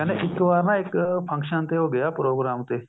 ਇੱਕ ਵਾਰ ਇੱਕ function ਤੇ ਉਹ ਗਿਆ ਪ੍ਰੋਗਰਾਮ ਤੇ